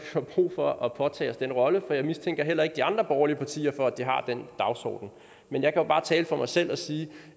får brug for at påtage os den rolle for jeg mistænker heller ikke de andre borgerlige partier for at de har den dagsorden men jeg kan jo bare tale for mig selv og sige